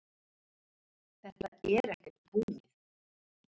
Þetta er ekkert búið